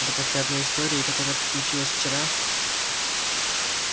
да после одной истории которая приключилась вчера